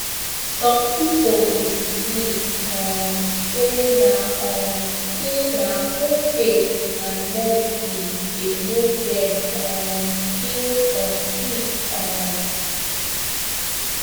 some people dey believe um say na um say na both faith and medicine dey make dem um heal complete um